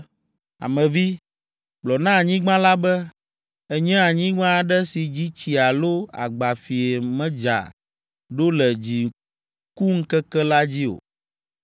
“Ame vi, gblɔ na anyigba la be, ‘Ènye anyigba aɖe si dzi tsi alo agbafie medza ɖo le dzikuŋkeke la dzi o.’